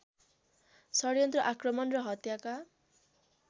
षड्यन्त्र आक्रमण र हत्याका